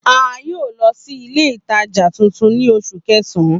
A yoo lọ si ile itaja tuntun ni Oṣu Kẹsan